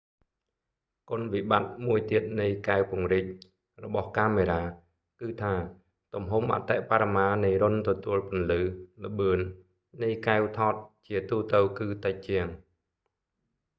គុណវិបត្តិមួយទៀតនៃកែវពង្រីក zoom lenses របស់កាមេរ៉ា គឺថា ទំហំអតិបរមានៃរុន្ធទទួលពន្លឺ ល្បឿន នៃកែវថត ជាទូទៅគឺតិចជាង